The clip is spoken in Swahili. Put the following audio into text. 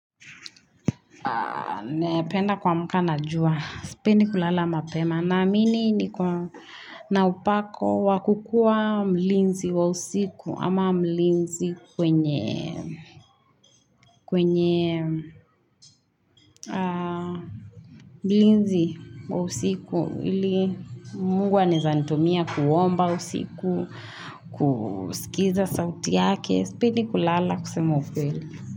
Napenda kuamka na jua. Sipendi kulala mapema. Naamini niko na upako wakukua mlinzi wa usiku. Ama mlinzi kwenye mlinzi wa usiku. Ili mungu anaeza nitumia kuomba usiku, kusikiza sauti yake. Sipendi kulala kusema ukweli.